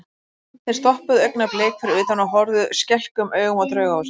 Þeir stoppuðu augnablik fyrir utan og horfðu skelkuðum augum á Draugahúsið.